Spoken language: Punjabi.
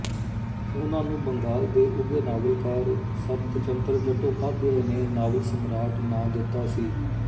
ਉਹਨਾਂ ਨੂੰ ਬੰਗਾਲ ਦੇ ਉੱਘੇ ਨਾਵਲਕਾਰ ਸ਼ਰਤਚੰਦਰ ਚੱਟੋਪਾਧਿਆਏ ਨੇ ਨਾਵਲ ਸਮਰਾਟ ਨਾਂ ਦਿੱਤਾ ਸੀ